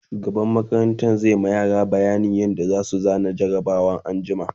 shugaban makarantan zai ma yara bayanin yadda zasu zana jarabawan anjima